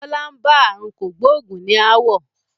Bọlá ń bá aàrùn kògbógùn ní ááwọ̀